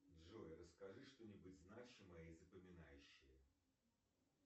джой расскажи что нибудь значимое и запоминающее